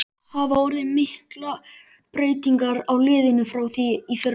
Hafa orðið miklar breytingar á liðinu frá því í fyrra?